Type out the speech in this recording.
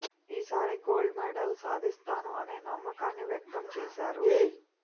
ఈసారి gold medal సాధిస్తాను అనే నమ్మకాన్ని వ్యక్తం చేశారు